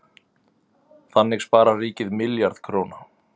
Þannig sparar ríkið milljarð króna.